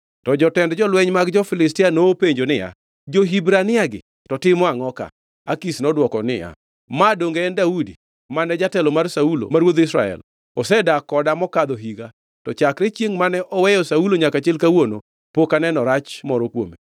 To jotend lweny mag jo-Filistia nopenjo niya, “Jo-Hibraniagi to timo angʼo ka?” Akish nodwoko niya, “Ma, donge en Daudi, mane jatelo mar Saulo ma ruodh Israel? Osedak koda mokadho higa, to chakre chiengʼ mane oweyo Saulo nyaka chil kawuono, pok aneno rach moro kuome.”